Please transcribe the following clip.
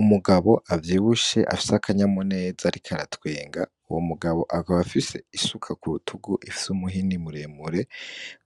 Umugabo avyiwushe afya akanyamu neza arikaratwenga uwo mugabo akaba afise isuka ku wutugu ifise umuhini muremure,